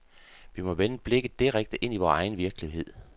Vi må vende blikket direkte ind i vores egen virkelighed.